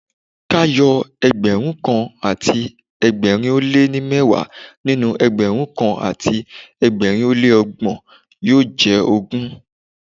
K'áyọ ẹgbẹ̀rúnkan àti ẹgbẹ̀rin ó lé ní mẹ́wàá nínú Ẹgbẹ̀rún kan àti ẹgbẹ̀rin ó lé ní ọgbọ̀n yóò jẹ́ ogún.